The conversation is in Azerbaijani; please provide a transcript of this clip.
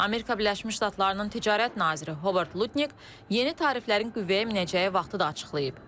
Amerika Birləşmiş Ştatlarının ticarət naziri Robert Lutnik yeni tariflərin qüvvəyə minəcəyi vaxtı da açıqlayıb.